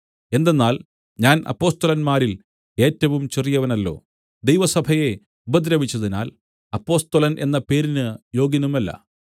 എന്തെന്നാൽ ഞാൻ അപ്പൊസ്തലന്മാരിൽ ഏറ്റവും ചെറിയവനല്ലോ ദൈവസഭയെ ഉപദ്രവിച്ചതിനാൽ അപ്പൊസ്തലൻ എന്ന പേരിന് യോഗ്യനുമല്ല